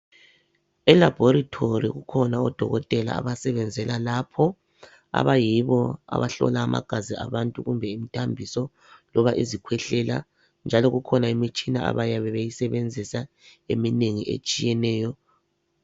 Elaboratory kukhona odokotela abasebenzela lapho abayibo abahlola amagazi abantu kumbe imithambiso loba izikhwehlela njalo kukhona imitshina abayabe beyisebenzisa eminengi etshiyeneyo.